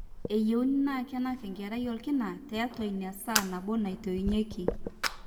eyieuni naa kenak enkerai orkina tiatua ina saa nabo netoinyieki